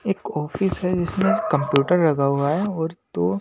एक ऑफिस है जिसमें कंप्यूटर लगा हुआ है और दो --